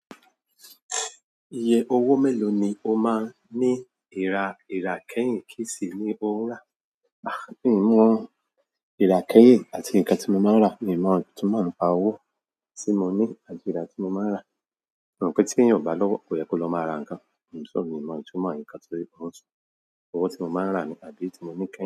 Iye owó mélòó ni o máa ń ní ìra ìràkẹ́yìn? Ki sì ni o ń rà. Mi mọ ìrákèyè àti nǹkan tí mo máa ń rà, mi mọ ìtumọ̀ àpa owó tí mo ní àdìí ìrá tí mo máa ń rà. Mo rò pé tí yóò bá lọ́wọ́, ko yẹ kó lọ máa ra nǹkan. Mi ò mọ ìtumọ̀ nǹkan torí ó ń sùn. Owó tí mo máa ń rà ni àdìí tí mo ní kẹ̀.